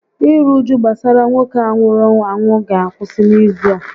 Iru uju gbasara nwoke a nwụrụ anwụ ga akwụsị n'izu a